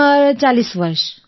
ઉંમર 40 વર્ષ